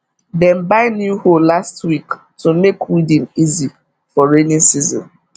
dem buy new hoe last week to make weeding easy for rainy season